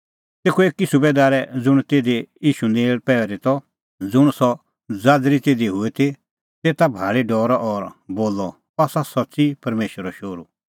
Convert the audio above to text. तेखअ एकी सुबैदारै ज़ुंण तिधी ईशू नेल़ पहरी त ज़ुंण सह ज़ाज़री तिधी हुई ती तेता भाल़ी डरअ और बोलअ अह आसा सच्च़ी परमेशरो शोहरू